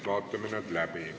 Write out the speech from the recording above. Vaatame need läbi.